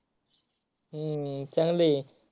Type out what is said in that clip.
हम्म चांगलय.